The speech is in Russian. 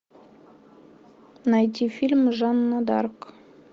найти фильм жанна дарк